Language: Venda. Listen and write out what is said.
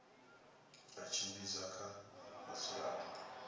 ha u tshimbidza kha vhadzulapo